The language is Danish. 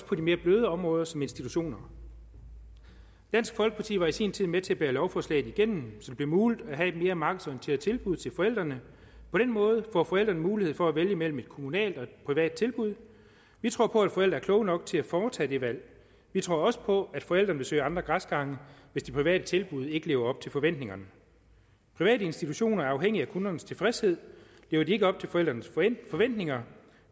på de mere bløde områder som institutioner dansk folkeparti var i sin tid med til at bære lovforslaget igennem så det blev muligt at have et mere markedsorienteret tilbud til forældrene på den måde får forældrene mulighed for at vælge mellem et kommunalt og et privat tilbud vi tror på at forældre er kloge nok til at foretage det valg vi tror også på at forældrene vil søge andre græsgange hvis de private tilbud ikke lever op til forventningerne private institutioner er afhængige af kundernes tilfredshed lever de ikke op til forældrenes forventninger